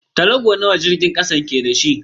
Tarago nawa jirgin kasan ke da shi?